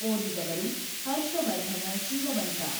ಓದಿದವರು Harshavardhana Sheelavanta <><><